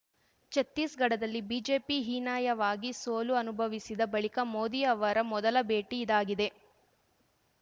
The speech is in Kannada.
ಛತ್ತೀಸ್‌ಗಢದಲ್ಲಿ ಬಿಜೆಪಿ ಹೀನಾಯವಾಗಿ ಸೋಲು ಅನುಭವಿಸಿದ ಬಳಿಕ ಮೋದಿ ಅವರ ಮೊದಲ ಭೇಟಿ ಇದಾಗಿದೆ